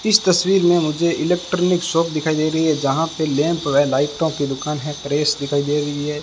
इस तस्वीर में मुझे इलेक्ट्रॉनिक शॉप दिखाई दे रही है जहां पे लैंप में लाइटों की दुकान है प्रेस दिखाई दे रही है।